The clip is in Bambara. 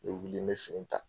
N bɛ wili n bɛ fini ta.